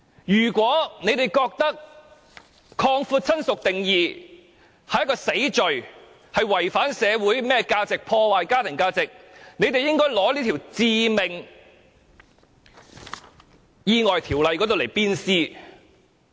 如果他們認為擴闊"親屬"的定義是一項死罪，違反社會價值，破壞家庭價值，他們應把《致命意外條例》鞭屍。